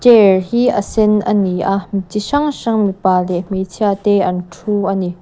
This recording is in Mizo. chair hi a sen a ni a mi chi hrang hrang mipa leh hmeichhia te an thu a ni.